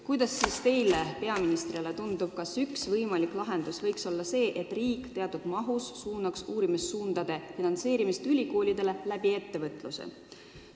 Kuidas teile peaministrina tundub, kas üks võimalik lahendus võiks olla see, et riik suunab teatud summad ülikoolidele uurimistöö finantseerimiseks ettevõtluse kaudu?